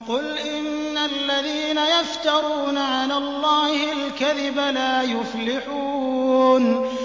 قُلْ إِنَّ الَّذِينَ يَفْتَرُونَ عَلَى اللَّهِ الْكَذِبَ لَا يُفْلِحُونَ